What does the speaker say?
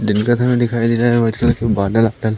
दिन का समय दिखाई दे रहा वाइट कलर के बादल वादल--